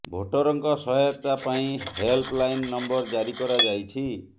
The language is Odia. ଭୋଟରଙ୍କ ସହାୟତା ପାଇଁ ହେଲ୍ପ ଲାଇନ୍ ନମ୍ବର ଜାରି କରାଯାଇଛି